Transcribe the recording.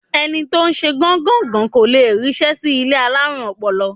Ẹni tó ń ṣe gán-gàn-gán kò le ríṣẹ́ sí ilé alárùn ọpọlọ.